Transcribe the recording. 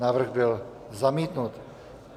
Návrh byl zamítnut.